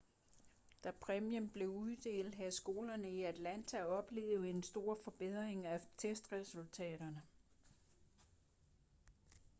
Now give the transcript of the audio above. da præmien blev uddelt havde skolerne i atlanta oplevet en stor forbedring af testresultaterne